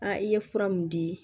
i ye fura mun di